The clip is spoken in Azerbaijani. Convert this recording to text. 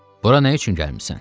Bura nə üçün gəlmisən?